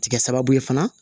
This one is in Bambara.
Ti kɛ sababu ye fana